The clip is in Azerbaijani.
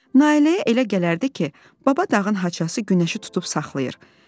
Nailəyə elə gələrdi ki, baba dağın haçası günəşi tutub saxlayır.